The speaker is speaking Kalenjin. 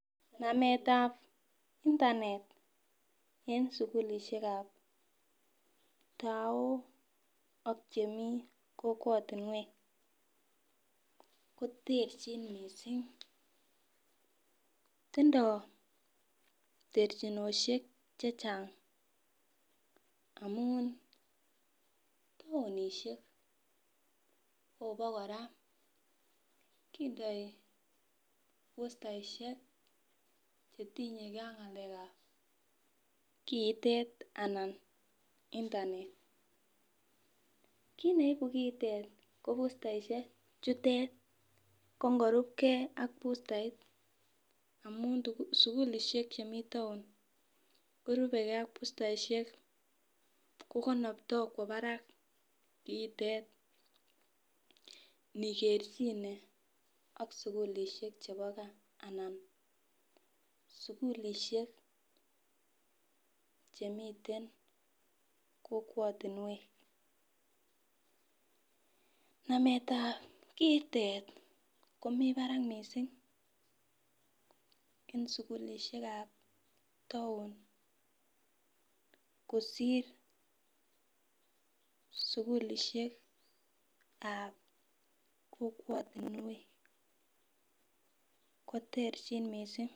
Nametab internet feng sukulishek ap tao ak chemi kokwotunwek koterchin mising tindo terchinoshek che chang amun tounishek kopo kora kindoi bustaishek chetinyeke ak ng'alek ap kiitet anan internet kiit neibu kiitet ko internishek chutet kongorupkei ak busteit amun sukulishek chemi town korupeke ak bustaishek ko konoptoi kwo barak kiitet nikerchine ak sukulishek chebo gaa anan sukulishek chemiten kokwotunwek namet ap kiitet komi barak mising eng sukulishek ap toun kosir sukulishek ap kokwotunwek ko terchin mising.